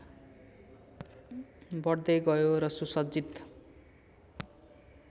बढ्दै गयो र सुसज्जित